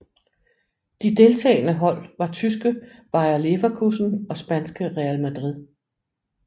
De deltagende hold var tyske Bayer Leverkusen og spanske Real Madrid